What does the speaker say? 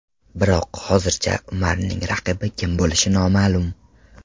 Biroq hozircha Umarning raqibi kim bo‘lishi noma’lum.